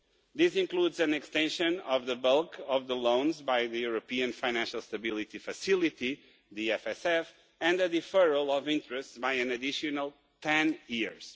This includes an extension of the bulk of the loans by the European Financial Stability Facility and a deferral of interest by an additional ten years.